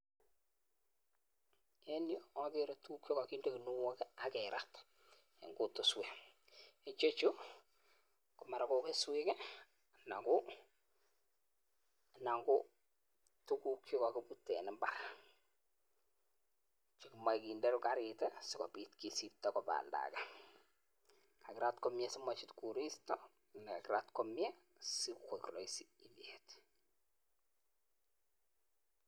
En yuh agere tuguuk chekokindee ginuok i ak keraat kutuswek. Ichechu ko mara ko keswek anan ko tuguuk chekokibuute en imbaar. Chemoche kindee garit i sikobiit kisibtoo koba oldage. kakirat komie simochut koristo anan kakiraat komie sikoik keswek.